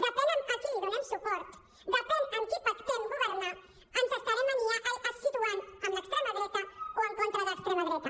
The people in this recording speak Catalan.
depèn a qui li donem suport depèn amb qui pactem governar ens estarem situant amb l’extrema dreta o en contra de l’extrema dreta